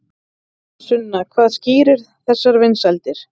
Sunna hvað skýrir þessar vinsældir?